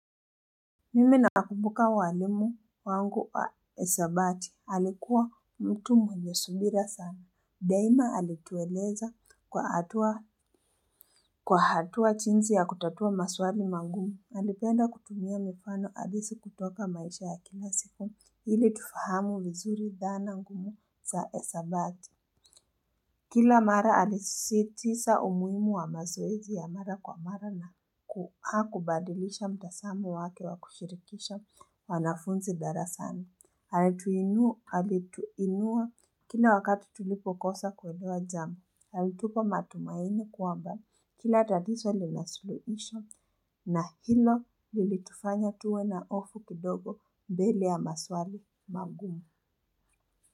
Mimi na kumbuka mwalimu wangu wa hesabati. Alikuwa mtu mwenye subira sana. Daima alitueleza kwa hatua jinsi ya kutatua maswali magumu. Alipenda kutumia mifano halisi kutoka maisha ya kila siku ili tufahamu vizuri dhana ngumu za hesabati. Kila mara alisisitiza umuhimu wa mazoezi ya mara kwa mara na hakubadilisha mtazamo wake wa kushirikisha wanafunzi darasani ali tuinua kila wakati tulipokosa kelewa jambo, alitupa matumaini kwamba kila tatizo linasuluhisho na hilo lilitufanya tuwe na hofu kidogo mbele ya maswali magumu.